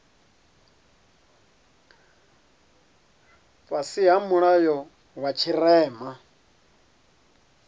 fhasi ha mulayo wa tshirema